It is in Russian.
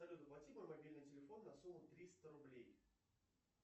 салют оплати мой мобильный телефон на сумму триста рублей